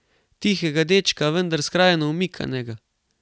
Tihega dečka, vendar skrajno omikanega.